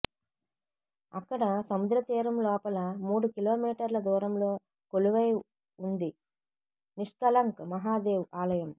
అక్కడ సముద్ర తీరంలోపల మూడు కిలోమీటర్ల దూరంలో కొలువై ఉంది నిష్కళంక్ మహాదేవ్ ఆలయం